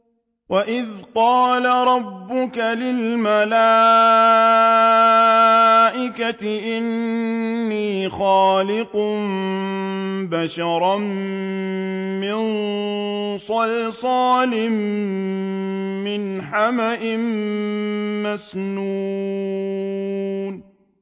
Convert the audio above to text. وَإِذْ قَالَ رَبُّكَ لِلْمَلَائِكَةِ إِنِّي خَالِقٌ بَشَرًا مِّن صَلْصَالٍ مِّنْ حَمَإٍ مَّسْنُونٍ